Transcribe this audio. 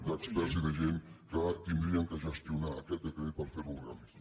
d’experts i de gent que haurien de gestionar aquest decret per fer lo realista